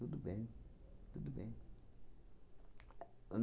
Tudo bem. Tudo bem.